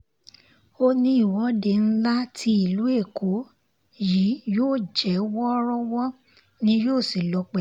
ó ní ìwọ́de ńlá ní ti ìlú èkó yìí yóò jẹ́ wọ́ọ́rọ́wọ́ ni yóò sì lọ pẹ̀lú